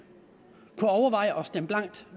at stemme blankt